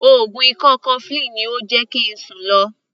Oògùn ikọ́ cofflin ni ó jẹ́ kí ń sùn lo.